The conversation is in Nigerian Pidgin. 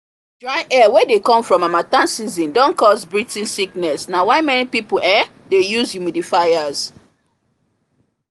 dry air wey dey come from harmattan season don cause breathing sickness na why many people um dey use humidifiers